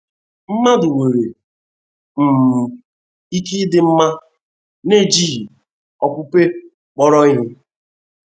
Mmadụ nwere um ike ịdị mma n'ejighị okpukpe kpọrọ ihe?